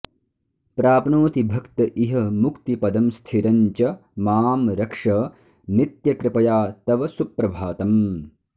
प्राप्नोति भक्त इह मुक्तिपदं स्थिरं च मां रक्ष नित्यकृपया तव सुप्रभातम्